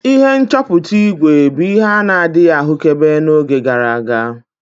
Ihe nchọpụta ígwè bụ ihe a na-adịghị ahụkebe n'oge gara aga.